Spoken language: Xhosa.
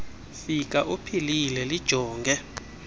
fika uphilile lijonge